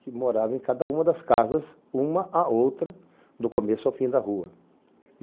que moravam em cada uma das casas, uma a outra, do começo ao fim da rua.